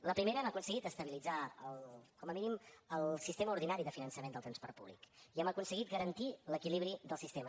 la primera hem aconseguit estabilitzar com a mínim el sistema ordinari de finançament del transport públic i hem aconseguit garantir l’equilibri del sistema